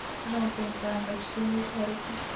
okay sir. I am extremely sorry sir.